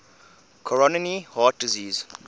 coronary heart disease